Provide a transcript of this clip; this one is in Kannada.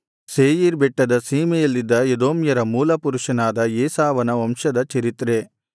ಸೇಯೀರ್ ಬೆಟ್ಟದ ಸೀಮೆಯಲ್ಲಿದ್ದ ಎದೋಮ್ಯರ ಮೂಲಪುರುಷನಾದ ಏಸಾವನ ವಂಶದ ಚರಿತ್ರೆ